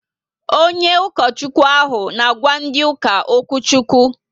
Onye ukochukwu ahụ n' àgwà ndị uka okwuchukwu